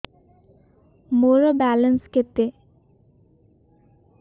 ମୋର ବାଲାନ୍ସ କେତେ